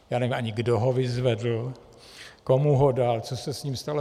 Já nevím ani, kdo ho vyzvedl, komu ho dal, co se s ním stalo.